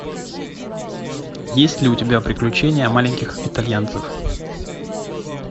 есть ли у тебя приключения маленьких итальянцев